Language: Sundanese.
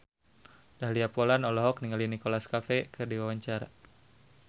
Dahlia Poland olohok ningali Nicholas Cafe keur diwawancara